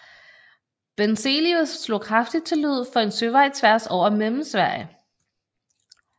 Benzelius slog kraftigt til lyd for en søvej tværs over Mellemsverige